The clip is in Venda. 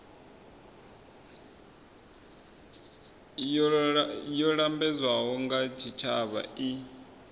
yo lambedzwaho nga tshitshavha i